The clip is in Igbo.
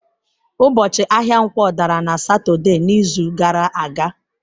Ụbọchị ahịa Nkwo dara na Satọde n'izu gara aga.